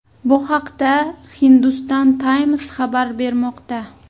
Bu haqda Hindustan Times xabar bermoqda .